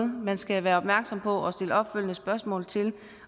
man skal være opmærksom på og stille opfølgende spørgsmål til